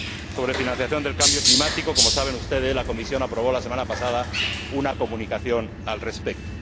Sobre financiación del cambio climático, como saben ustedes, la Comisión aprobó la semana pasada una comunicación al respecto.